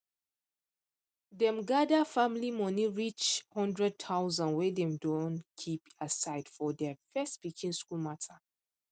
dem gather family money reach 100000 wey dem don keep aside for their first pikin school matter